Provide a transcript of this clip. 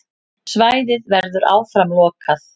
Svæðið verður áfram lokað.